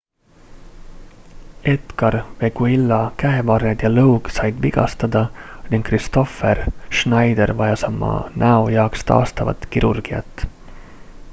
edgar veguilla käevarred ja lõug said vigastada ning kristoffer schneider vajas oma näo jaoks taastavat kirurgiat